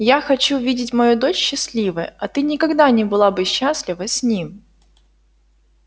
я хочу видеть мою дочь счастливой а ты никогда не была бы счастлива с ним